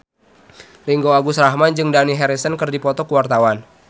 Ringgo Agus Rahman jeung Dani Harrison keur dipoto ku wartawan